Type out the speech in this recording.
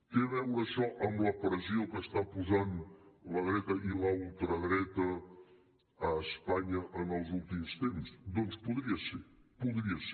té a veure això amb la pressió que està posant la dreta i la ultradreta a espanya en els últims temps doncs podria ser podria ser